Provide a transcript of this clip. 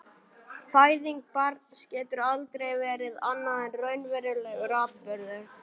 Fæðing barns getur aldrei verið annað en raunverulegur atburður.